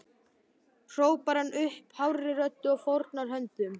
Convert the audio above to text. hrópar hann upp hárri röddu og fórnar höndum.